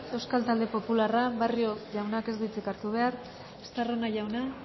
euskal talde popularra barrio jauna ez dut hartu behar estarrona jauna